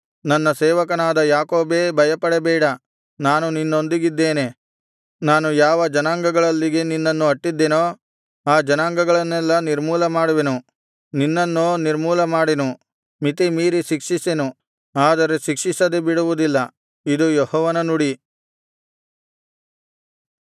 ನನ್ನ ಸೇವಕನಾದ ಯಾಕೋಬೇ ಭಯಪಡಬೇಡ ನಾನು ನಿನ್ನೊಂದಿಗಿದ್ದೇನೆ ನಾನು ಯಾವ ಜನಾಂಗಗಳಲ್ಲಿಗೆ ನಿನ್ನನ್ನು ಅಟ್ಟಿದ್ದೆನೋ ಆ ಜನಾಂಗಗಳನ್ನೆಲ್ಲಾ ನಿರ್ಮೂಲಮಾಡುವೆನು ನಿನ್ನನ್ನೋ ನಿರ್ಮೂಲಮಾಡೆನು ಮಿತಿಮೀರಿ ಶಿಕ್ಷಿಸೆನು ಆದರೆ ಶಿಕ್ಷಿಸದೆ ಬಿಡುವುದಿಲ್ಲ ಇದು ಯೆಹೋವನ ನುಡಿ